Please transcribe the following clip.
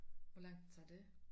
Hvor langt tager det